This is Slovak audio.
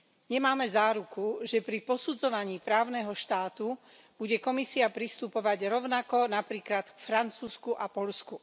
Nemáme záruku, že pri posudzovaní právneho štátu bude Komisia pristupovať rovnako napríklad k Francúzsku a Poľsku.